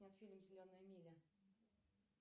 фильм зеленая миля